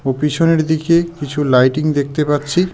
ও পিছনের দিকে কিছু লাইটিং দেখতে পারছি।